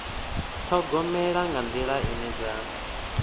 ṱhogomela nga nḓila ine dza